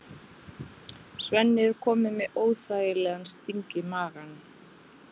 Svenni er kominn með óþægilegan sting í magann.